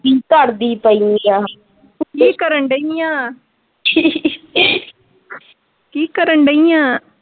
ਕੀ ਕਰਦੀ ਪਈ ਆ ਕੀ ਕਰਨ ਡਾਈ ਆ ਕੀ ਕਰਨ ਡਾਈ ਆ।